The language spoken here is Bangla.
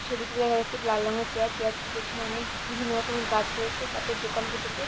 ছবিটিতে দেখা যাচ্ছে একটি লাল রঙের চেয়ার চেয়ারটির পিছনে অনেক বিভিন্ন রকমের গাছ রয়েছে গাছের দোকান বসেছে।